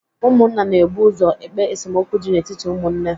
Ụmụnna na ebu ụzọ ekpe esemokwu dị n'etiti ụmụnne